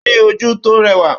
Ó ní ojú tó rẹwà